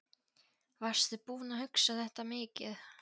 Varstu búinn að hugsa þetta mikið?